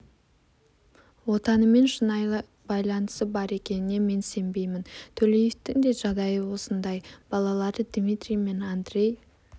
отанымен шынайы байланысы бар екеніне мен сенбеймін төлеевтің де жағдайы осындай балалары дмитрий мен андрей